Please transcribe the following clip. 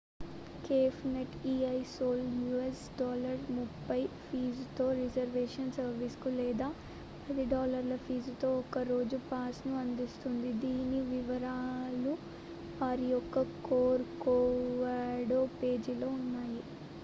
cafenet el sol us$30 ఫీజుతో reservation సర్వీస్‌ను లేదా $10 ఫీజుతో ఒక్కరోజు పాస్‌లను అందిస్తుంది; దీని వివరాలు వారి యొక్క corcovado పేజీలో ఉన్నాయి